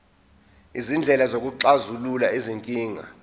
izindlela zokuxazulula izinkinga